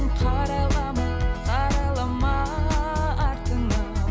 қарайлама қарайлама артыңа